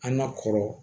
An ka kɔrɔ